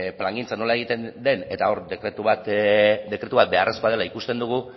plangintza nola egiten den eta hor dekretu bat beharrezkoa dela ikusten dugu